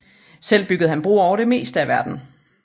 Selv bygger han broer over det meste af verden